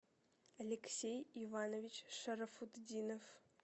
алексей иванович шарафутдинов